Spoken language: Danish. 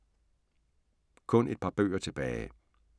Kun et par bøger tilbage